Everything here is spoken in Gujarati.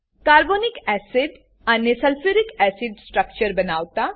કાર્બોનિક એસિડ અને સલ્ફ્યુરિક એસિડ સ્ટ્રક્ચર બનાવતા